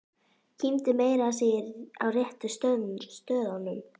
Kímdi meira að segja á réttu stöðunum.